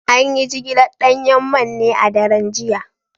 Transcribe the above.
An yi jigilar danyen man ne a daren jiya